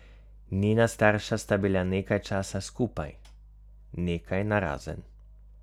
Njena starša sta bila nekaj časa skupaj, nekaj narazen.